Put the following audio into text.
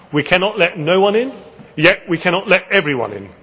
We cannot let no one in, yet we cannot let everyone